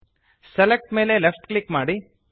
select ಮೇಲೆ left click ಮಾಡಿ